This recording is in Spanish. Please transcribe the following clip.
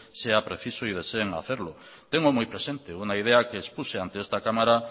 sea preciso y deseen hacerlo tengo muy presente una idea que expuse ante esta cámara